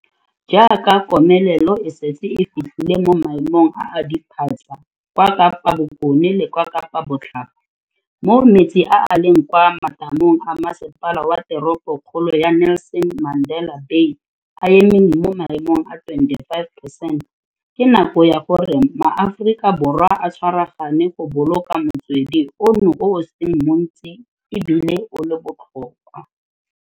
Jaaka komelelo e setse e fitlhile mo maemong a a diphatsa kwa Kapa Bokone le kwa Kapa Botlhaba, moo metsi a a leng kwa matamong a Masepala wa Teropo kgolo ya Nelson Mandela Bay a emeng mo maemong a 25 percent, ke nako ya gore maAforika Borwa a tshwaragane go boloka motswedi ono o o seng montsi e bile o le botlhokwa.